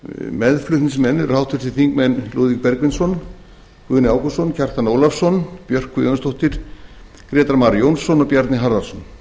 meðflutningsmenn eru háttvirtir þingmenn lúðvík bergvinsson guðni ágústsson kjartan ólafsson björk guðjónsdóttir grétar mar jónsson og bjarni harðarson